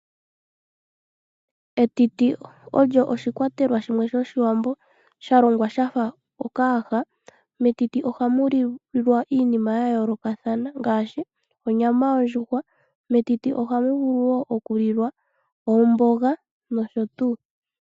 Etiti olyo oshikwatelwa shimwe shoshiwambo shalongwa shafa okayaha. Metiti ohamu lilwa iinima yayoolokathana ngaashi oonyama yondjuhwaa, metiti ohamu vulu wo okulilwa omboga nosho tuu.